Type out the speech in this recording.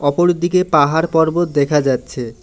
অপরদিকে পাহাড় পর্বত দেখা যাচ্ছে।